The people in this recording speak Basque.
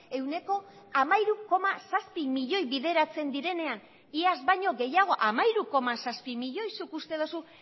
ehuneko hamairu koma zazpi milioi bideratzen direnean iaz baino gehiago hamairu koma zazpi milioi zuk uste duzu